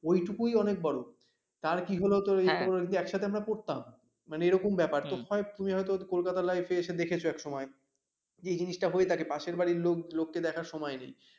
এইটুকুই অনেক বড় তার কী হল তো এই একসাথে আমরা পড়তাম মানে এরকম ব্যাপার তো তুমি হয়তো কলকাতার লাইফ এসে দেখেছ এসময় যে জিনিসটা হয়ে থাকে পাশের বাড়ির লোক লোক কে দেখার সময় নেই